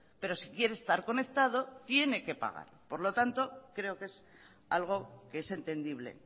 pero si quiere estar conectado tiene que pagar por lo tanto creo que es algo que es entendible